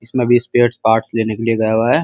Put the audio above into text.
इसमें अभी spares parts लेने के लिए गया हुआ है।